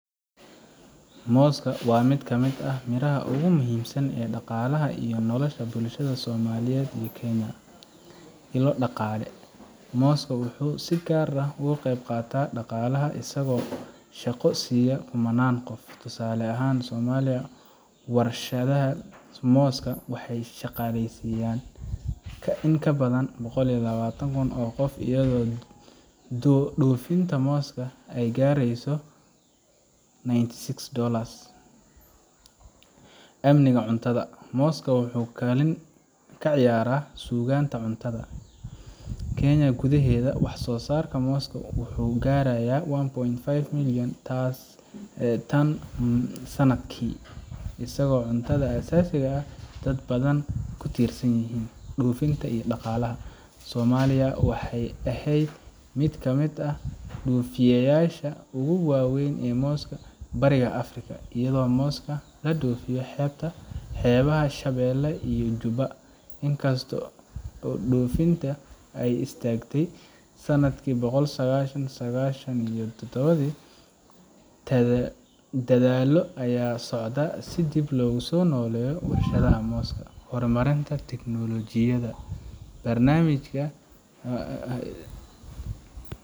Moosku waa mid ka mid ah miraha ugu muhiimsan ee dhaqaalaha iyo nolosha bulshada Soomaaliya iyo Kenya. Ilo Dhaqaale: Mooska wuxuu si gaar ah uga qayb qaataa dhaqaalaha, isagoo shaqo siiya kumannaan qof. Tusaale ahaan, Soomaaliya, warshadaha mooska waxay shaqaaleysiin jireen in ka badan boqol iyo lawatan oo qof, iyadoo dhoofinta mooska ay gaartay ninety six dollars Amniga Cuntada: Mooska wuxuu kaalin ciyaaraa sugnaanta cuntada. Kenya gudaheeda, wax soo saarka mooska wuxuu gaarayaa one point four million tan sanadkii, isagoo ah cunto aasaasi ah oo ay dad badan ku tiirsan yihiin. Dhoofinta iyo Dhaqaalaha: Soomaaliya waxay ahayd mid ka mid ah dhoofiyeyaasha ugu waaweyn ee mooska Bariga Afrika, iyadoo mooska laga dhoofiyo xeebaha Shabeelle iyo Jubba. Inkastoo dhoofinta ay istaagtay sanadki kun sagal boqo sagashan iyo todobadii, dadaallo ayaa socda si dib loogu soo nooleeyo warshadaha mooska. Horumarinta Tiknoolajiyada: Barnaamijka,